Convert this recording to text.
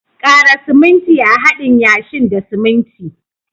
Kara siminti a'hadin yashin da siminti.